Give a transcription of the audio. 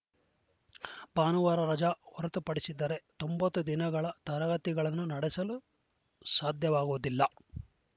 ಭಾನುವಾರ ರಜ ಹೊರತುಪಡಿಸಿದರೆ ತೊಂಬತ್ತು ದಿನಗಳ ತರಗತಿಗಳನ್ನು ನಡೆಸಲು ಸಾಧ್ಯವಾಗುವುದಿಲ್ಲ